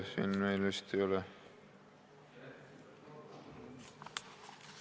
Siin meil vist ei ole ...